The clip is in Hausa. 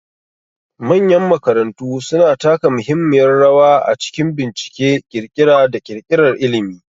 Manyan makarantu suna taka muhimmiyar rawa a cikin bincike, ƙirƙira, da ƙirƙirar ilimi.